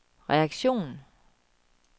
reaktion